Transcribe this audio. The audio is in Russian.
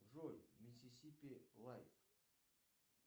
джой миссисипи лайф